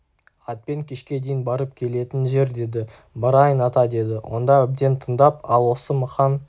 атпен кешке дейін барып келетін жер деді барайын ата деді онда әбден тыңдап ал осы мықан